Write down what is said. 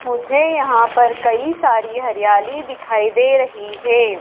मुझे यहां पर कई सारी हरियाली दिखाई दे रही है।